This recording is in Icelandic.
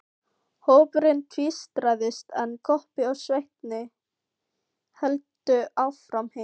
Hópurinn tvístraðist, en Kobbi og Svenni héldu áfram heim.